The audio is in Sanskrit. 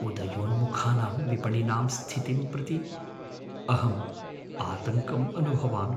उदयोन्मुखानां विपणिनां स्थितिं प्रति अहं आतङ्कम् अनुभवामि।